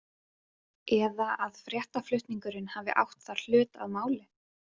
Eða að fréttaflutningurinn hafi átt þar hlut að máli?